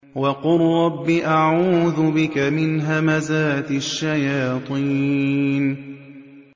وَقُل رَّبِّ أَعُوذُ بِكَ مِنْ هَمَزَاتِ الشَّيَاطِينِ